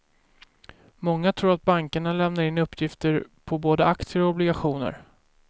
Många tror att bankerna lämnar in uppgifter på både aktier och obligationer.